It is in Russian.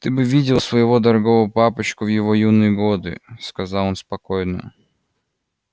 ты бы видела своего дорогого папочку в его юные годы сказала она спокойно